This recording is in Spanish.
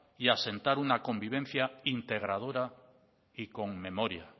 y asentar una convivencia integradora y con memoria